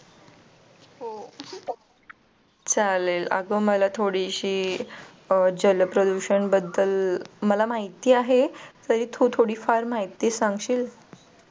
चालेल. अगं मला थोडीशी जलप्रदूषण बद्दल मला माहिती आहे तरी तू थोडीफार माहिती सांगशील.